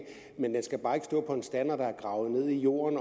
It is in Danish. men den skal bare ikke stå på en stander der er gravet ned i jorden